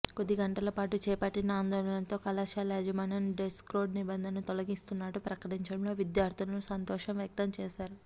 కొద్దిగంటలపాటు చేపట్టిన ఆందోళనతో కళాశాల యాజమాన్యం డ్రెస్ కోడ్ నిబంధనను తొలగిస్తున్నట్లు ప్రకటించడంతో విద్యార్థినులు సంతోషం వ్యక్తం చేశారు